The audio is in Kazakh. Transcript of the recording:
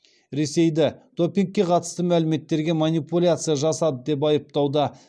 ресейді допингке қатысты мәліметтерге манипуляция жасады деп айыптауда